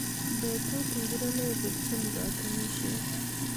Betut ngori neiputchini katunishiet